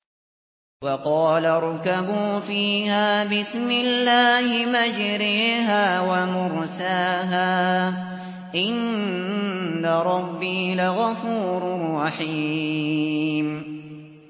۞ وَقَالَ ارْكَبُوا فِيهَا بِسْمِ اللَّهِ مَجْرَاهَا وَمُرْسَاهَا ۚ إِنَّ رَبِّي لَغَفُورٌ رَّحِيمٌ